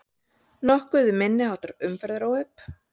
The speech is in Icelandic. Nokkuð um minniháttar umferðaróhöpp